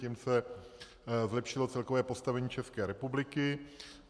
Tím se zlepšilo celkové postavení České republiky.